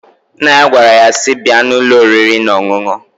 Nna ya gwara nnyaa si,"Bịa n'ụlọ oriri n'ọṅụṅ!"